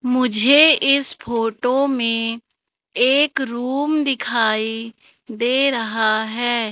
मुझे इस फोटो में एक रूम दिखाई दे रहा है।